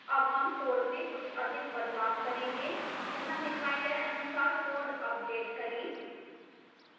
हम अब code में कुछ अधिक बदलाव करेंगे यहाँ दिखाए गए अनुसार code अपडेट करें